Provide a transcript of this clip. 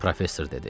professor dedi.